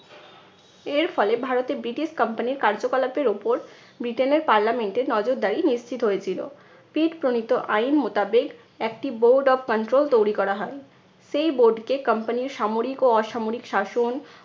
এর ফলে ভারতে ব্রিটিশ company র কার্যকলাপের ওপর ব্রিটেনের parliament এ নজরদারী নিশ্চিত হয়েছিল। পিট প্রণীত আইন মোতাবেক একটি board of control তৈরি করা হয়। সেই board কে company র সামরিক ও অসামরিক শাসন